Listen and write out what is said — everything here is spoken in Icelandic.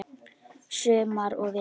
Sumar og vetur.